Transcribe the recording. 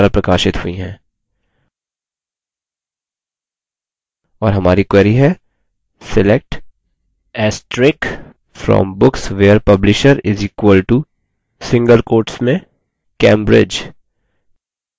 और हमारी query है select * from books where publisher = cambridge